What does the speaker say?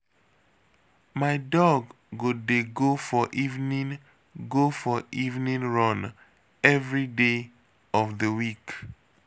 My dog go dey go for evening go for evening run everyday of the week